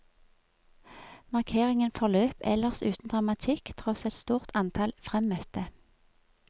Markeringen forløp ellers uten dramatikk, tross et stort antall fremmøtte.